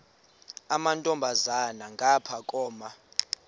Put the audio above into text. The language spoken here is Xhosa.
amantombazana ngapha koma